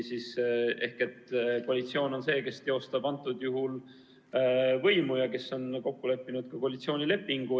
Koalitsioon on see, kes teostab võimu ja kes on kokku leppinud koalitsioonilepingu.